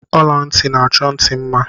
Ola nti n'achọ nti mma